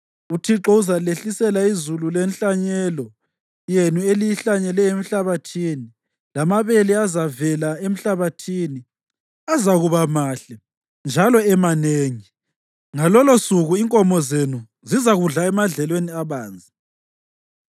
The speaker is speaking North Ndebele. UThixo uzalehlisela izulu lenhlanyelo yenu eliyihlanyele emhlabathini, lamabele azavela emhlabathini azakuba mahle njalo emanengi. Ngalolosuku inkomo zenu zizakudla emadlelweni abanzi.